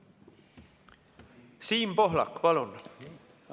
Siim Pohlak, palun!